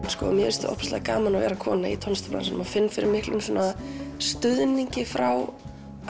sko mér finnst ótrúlega gaman að vera kona í tónlistarbransanum og finn fyrir miklum stuðningi frá